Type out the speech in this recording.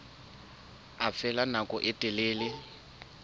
a phela nako e telele